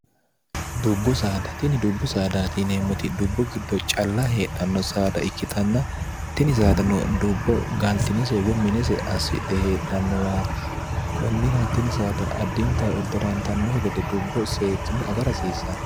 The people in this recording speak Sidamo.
dubbu saadtini dubbu saadaatiineemmoti dubbu giddo calla heedhanno saada ikkitanna tini saadano dubbo gaaltino seewwo minese assidhe heedhannowaati kunnira tini saada addinta edde'raantannohe gede dubbo seekkine aga rasiisanno